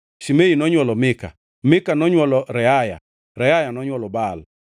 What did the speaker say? Shimei nonywolo Mika, Mika nonywolo Reaya, Reaya nonywolo Baal,